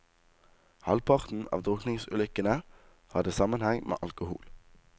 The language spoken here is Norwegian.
Halvparten av drukningsulykkene hadde sammenheng med alkohol.